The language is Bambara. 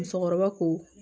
Musokɔrɔba ko